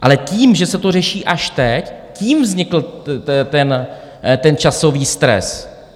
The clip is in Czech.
Ale tím, že se to řeší až teď, tím vznikl ten časový stres.